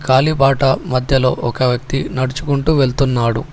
కాలిబాట మధ్యలో ఒక వ్యక్తి నడుచుకుంటూ వెళ్తున్నాడు.